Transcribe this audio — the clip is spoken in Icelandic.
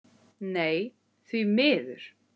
Nei, því miður.